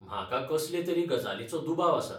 म्हाका कसले तरी गजालीचो दुबाव आसा.